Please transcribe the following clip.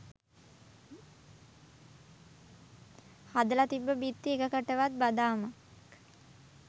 හදල තිබ්බ බිත්ති එකකටවත් බදාමයක්